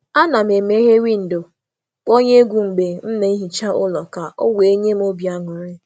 um A na m asacha ụlọ na windo meghere na egwu na-agba ka m nwee ọ nwee ọṅụ n’oge ahụ.